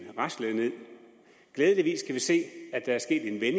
raslede nederst glædeligvis kan vi se at der sket en